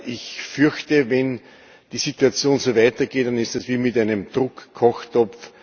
Ich fürchte, wenn die Situation so weitergeht, dann ist es wie mit einem Druckkochtopf.